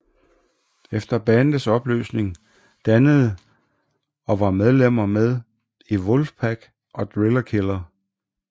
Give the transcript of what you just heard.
Efter bandets opløsning dannede og var medlemmer med i Wolfpack og Driller Killer